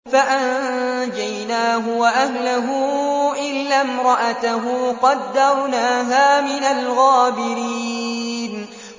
فَأَنجَيْنَاهُ وَأَهْلَهُ إِلَّا امْرَأَتَهُ قَدَّرْنَاهَا مِنَ الْغَابِرِينَ